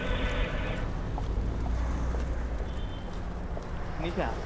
শুনিছা?